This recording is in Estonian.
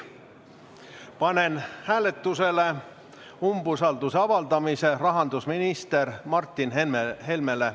Panen hääletusele umbusalduse avaldamise rahandusminister Martin Helmele.